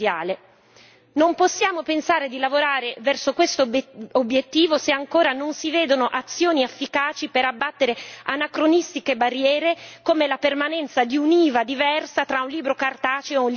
Non possiamo pensare di lavorare verso questo obiettivo se ancora non si vedono azioni efficaci per abbattere anacronistiche barriere come la permanenza di un'IVA diversa tra un libro cartaceo e un libro digitale.